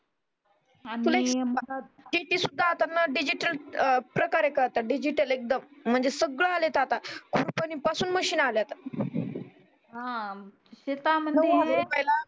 शेती सुद्धा आता डिजिटल प्रकारे करतात डिजिटल येकदम सगळ आलय आता कुरपणी पासून मशीन आल्यात